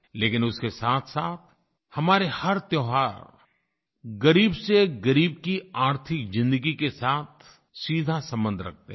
लेकिन उसके साथसाथ हमारे हर त्योहार ग़रीबसेग़रीब की आर्थिक ज़िन्दगी के साथ सीधा सम्बन्ध रखते हैं